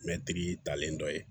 Mɛtiri talen dɔ ye